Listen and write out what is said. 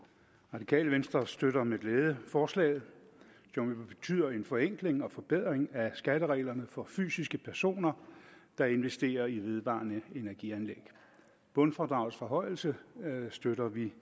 radikale venstre støtter med glæde forslaget som jo betyder en forenkling og forbedring af skattereglerne for fysiske personer der investerer i vedvarende energi anlæg bundfradragets forhøjelse støtter vi